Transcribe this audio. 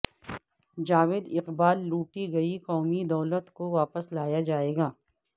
جاوید اقبال لوٹی گئی قومی دولت کو واپس لایا جائے گا